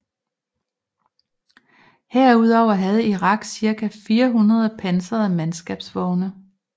Herudover havde Irak cirka 400 pansrede mandskabsvogne